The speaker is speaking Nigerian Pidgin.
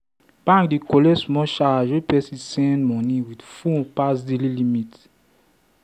banks dey collect small charge when person send money with phone pass daily limit.